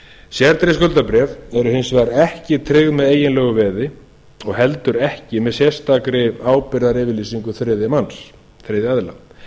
sértryggð skuldabréf eru hins vegar ekki tryggð með eiginlegu veði og heldur ekki með sérstakri ábyrgðaryfirlýsingu þriðja manns þriðja aðila